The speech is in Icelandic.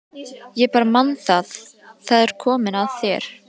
Ég bara man það- það er komið að þér.